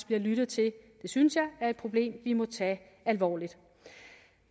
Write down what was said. bliver lyttet til det synes jeg er et problem vi må tage alvorligt